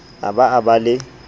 a ba a ba le